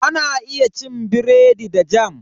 Ana iya cin biredi da "Jam".